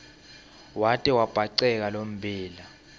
wate wabhaceka lommbila